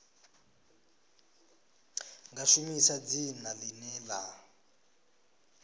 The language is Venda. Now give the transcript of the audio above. nga shumisa dzina ḽine ḽa